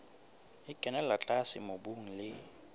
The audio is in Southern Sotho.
e kenella tlase mobung le